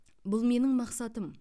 бұл менің мақсатым